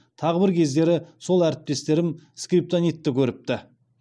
тағы бір кездері сол әріптестерім скриптонитті көріпті